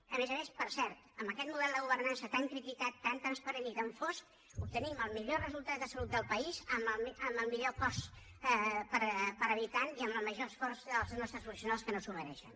a més a més per cert amb aquest model de governança tan criticat tan transparent i tan fosc obtenim el millor resultat de salut del país amb el millor cost per habitant i amb el major esforç dels nostres professionals que no s’ho mereixen